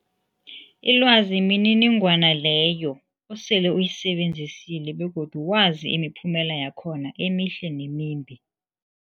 Ilwazi mniningwana leyo osele uyisebenzisile begodu wazi imiphumela yakhona emihle nemimbi.